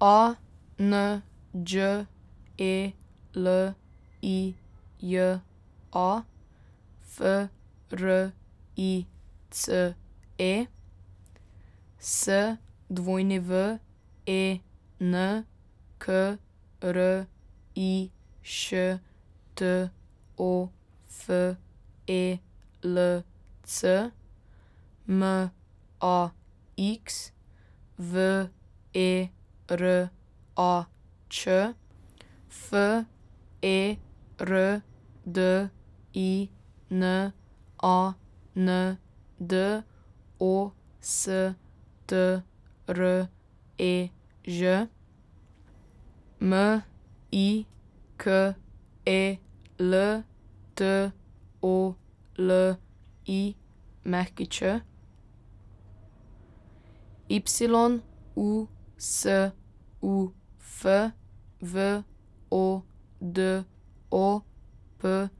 A N Đ E L I J A, F R I C E; S W E N, K R I Š T O F E L C; M A X, V E R A Č; F E R D I N A N D, O S T R E Ž; M I K E L, T O L I Ć; Y U S U F, V O D O P